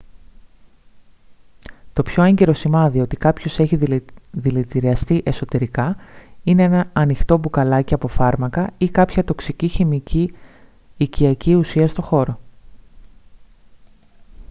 το πιο έγκυρο σημάδι ότι κάποιος έχιε δηλητηριαστεί εσωτερικά είναι ένα ανοιχτό μπουκαλάκι από φάρμακα ή κάποια τοξική χημική οικιακή ουσία στο χώρο